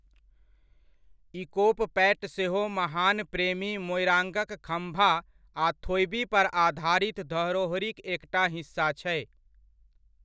इकोप पैट सेहो महान प्रेमी मोइराङ्गक खम्भा आ थोइबी पर आधारित धरोहरिक एकटा हिस्सा छै।